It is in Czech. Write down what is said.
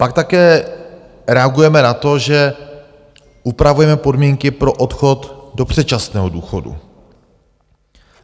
Pak také reagujeme na to, že upravujeme podmínky pro odchod do předčasného důchodu.